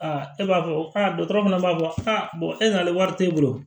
e b'a fɔ ko aa dɔgɔtɔrɔ fana b'a fɔ e nana wari tɛ e bolo